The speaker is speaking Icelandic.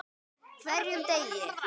HVERJUM DEGI!